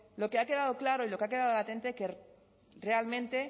lo que ha quedado claro y lo que ha quedado latente que realmente